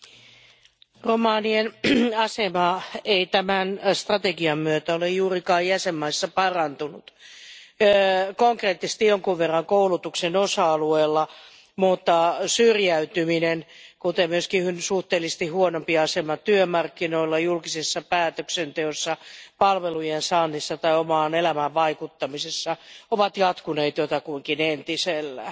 Arvoisa puhemies, romanien asema ei tämän strategian myötä ole juurikaan jäsenmaissa parantunut. Se on parantunut konkreettisesti jonkin verran koulutuksen osa alueella mutta syrjäytyminen sekä myös suhteellisesti huonompi asema työmarkkinoilla, julkisessa päätöksenteossa, palvelujen saannissa tai omaan elämään vaikuttamisessa ovat jatkuneet jotakuinkin entisellään.